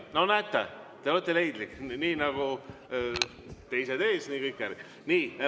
No näete, te olete leidlik – nii nagu teised ees, nii kõik järgi.